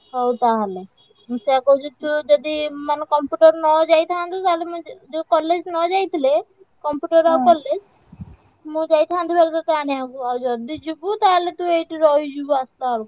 ହଉ ତାହେଲେ ମୁଁ ସେୟା କହୁଛି ତୁ ଯଦି ମାନେ computer ନଯାଇଥାନ୍ତୁ ତାହେଲେ ମୁଁ college ନଯାଇଥିଲେ computer ଆଉ college ମୁଁ ଯାଇଥାନ୍ତି ଭାରି ତତେ ଆଣିଆକୁ ଆଉ ଯଦି ଯିବୁ ତାହେଲେ ତୁ ଏଇଠି ରହିଯିବୁ ଆସିଲା ବେଳକୁ।